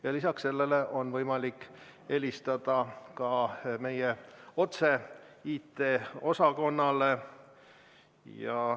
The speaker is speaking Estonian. Ja lisaks sellele on võimalik helistada ka otse meie IT-osakonnale.